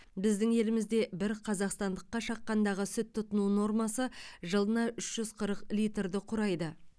біздің елімізде бір қазақстандыққа шаққандағы сүт тұтыну нормасы жылына үш жүз қырық литрді құрайды